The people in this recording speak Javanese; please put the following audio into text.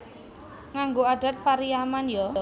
Nganggo adat Pariaman yo